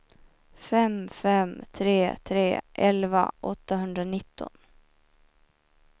fem fem tre tre elva åttahundranitton